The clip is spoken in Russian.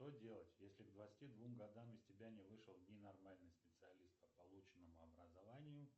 что делать если к двадцати двум годам из тебя не вышел не нормальный специалист по полученному образованию